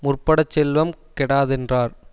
முற்படச் செல்வம் கெடாதென்றார்